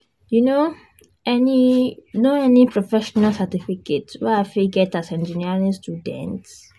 you know any know any professional certificate wey I fit get as engineering student?